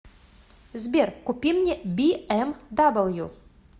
сбер купи мне би эм дабл ю